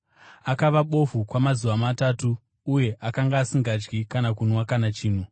Akava bofu kwamazuva matatu, uye akanga asingadyi kana kunwa kana chinhu.